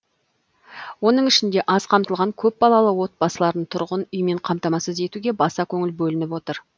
оның ішінде аз қамтылған көпбалалы отбасыларын тұрғын үймен қамтамасыз етуге баса көңіл бөлініп отыр